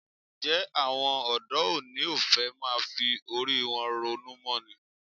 Ǹjẹ́ àwọn ọ̀dọ́ òní ò fẹ́ máa fi orí wọn ronú mọ́ ni?